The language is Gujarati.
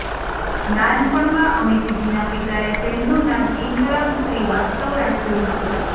નાનપણમાં અમિતજીના પિતાએ તેમનું નામ ઇન્કલાબ શ્રીવાસ્તવ રાખ્યું હતું